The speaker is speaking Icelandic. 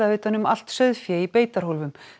utan um allt sauðfé í beitarhólfum